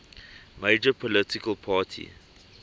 major political party